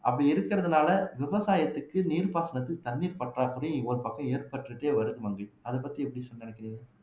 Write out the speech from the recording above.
அப்படி இருக்கிறதுனாலே விவசாயத்துக்கு நீர் பாசனத்துக்கு தண்ணீர் பற்றாக்குறை ஒரு பக்கம் ஏற்பட்டுட்டே வருது மங்கை அத பத்தி எப்படி சொ நினைக்கிறீங்க